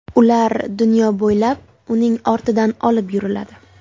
Ular dunyo bo‘ylab uning ortidan olib yuriladi.